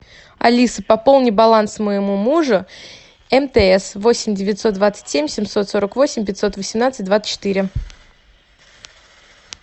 алиса пополни баланс моему мужу мтс восемь девятьсот двадцать семь семьсот сорок восемь пятьсот восемнадцать двадцать четыре